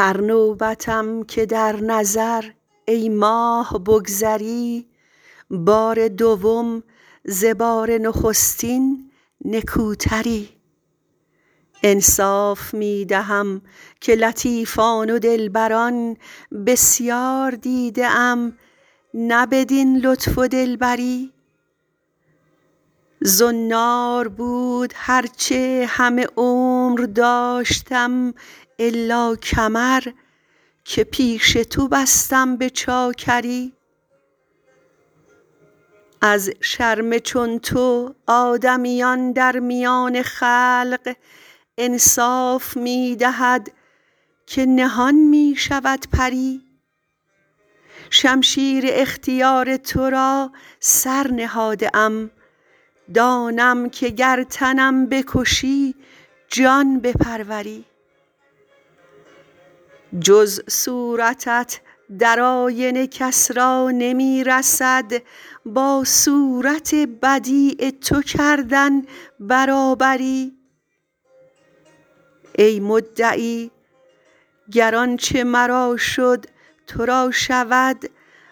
هر نوبتم که در نظر ای ماه بگذری بار دوم ز بار نخستین نکوتری انصاف می دهم که لطیفان و دلبران بسیار دیده ام نه بدین لطف و دلبری زنار بود هر چه همه عمر داشتم الا کمر که پیش تو بستم به چاکری از شرم چون تو آدمیان در میان خلق انصاف می دهد که نهان می شود پری شمشیر اختیار تو را سر نهاده ام دانم که گر تنم بکشی جان بپروری جز صورتت در آینه کس را نمی رسد با صورت بدیع تو کردن برابری ای مدعی گر آنچه مرا شد تو را شود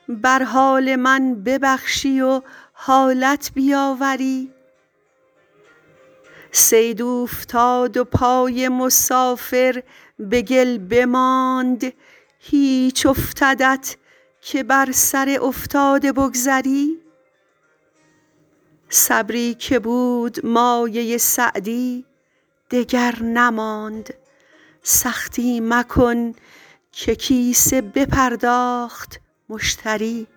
بر حال من ببخشی و حالت بیاوری صید اوفتاد و پای مسافر به گل بماند هیچ افتدت که بر سر افتاده بگذری صبری که بود مایه سعدی دگر نماند سختی مکن که کیسه بپرداخت مشتری